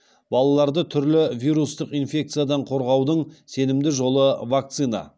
балаларды түрлі вирустық инфекциядан қорғаудың сенімді жолы вакцина